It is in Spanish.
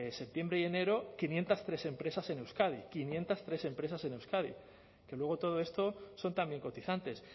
septiembre y enero quinientos tres empresas en euskadi quinientos tres empresas en euskadi que luego todo esto son también cotizantes